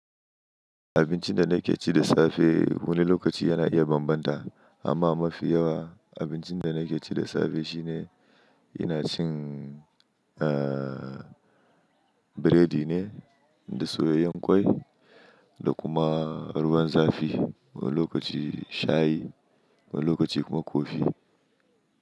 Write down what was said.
Abincin da na ke ci da safe wani lokaci yana iya bambanta, amma mafi yawa abincin da na ke ci da safe shine ina cin, eh, biredi ne da soyayyen ƙwai, da kuma ruwan zafi. Wani lokaci shayi wani lokaci kuma kofi.